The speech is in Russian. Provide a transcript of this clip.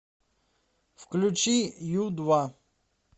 включи ю два